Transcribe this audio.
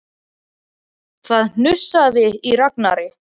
Það hnussaði í Ragnari.